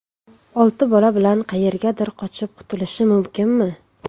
Olti bola bilan qayergadir qochib qutulishi mumkinmi?